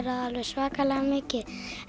alveg svakalega mikið